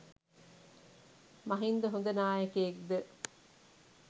මහින්ද හොඳ නායකයෙක් ද